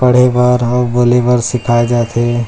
पढ़े बर अऊ बोले बर सिखाए जाथे।